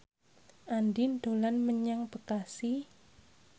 Andien dolan menyang Bekasi